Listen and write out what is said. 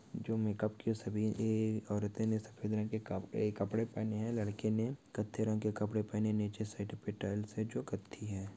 जो मेकअप के सभी औरतों ने सफेद रंग के कपड़े पहने हैं लड़के ने कच्चे रंग के कपड़े पहने नीचे साइड पर टाइल्स से जो करती है।